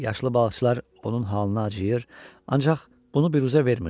Yaşlı balıqçılar onun halına acıyır, ancaq bunu büruzə vermirdilər.